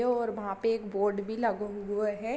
और वहाँ पे एक बोर्ड भी लगो हुवो है।